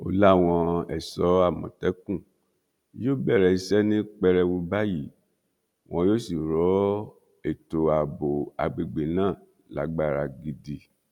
ó láwọn ẹṣọ àmọtẹkùn yóò bẹrẹ iṣẹ ní pẹrẹwu báyìí wọn yóò sì rọ ètò ààbò àgbègbè náà lágbára gidi